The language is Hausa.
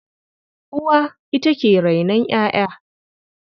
Uwa ita ke rainon ƴaƴa.